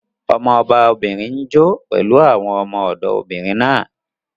Ọmọba obìnrin n jó pẹ̀lú àwọn ọmọ-ọ̀dọ̀ obìnrin náà